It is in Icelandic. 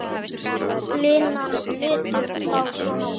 Línan lítur þá svona út